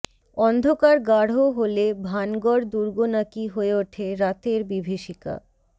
অন্ধকার গাঢ় হলে ভানগড় দুর্গ নাকি হয়ে ওঠে রাতের বিভীষিকা